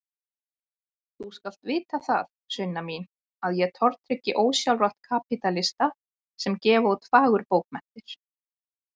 Þú skalt vita það, Sunna mín, að ég tortryggi ósjálfrátt kapítalista sem gefa út fagurbókmenntir.